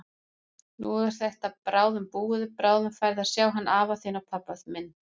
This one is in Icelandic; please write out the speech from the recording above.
Nú er þetta bráðum búið, bráðum færðu að sjá hann afa þinn og pabba minn.